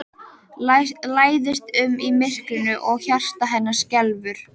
Læðist um í myrkrinu og hjarta hennar skelfur.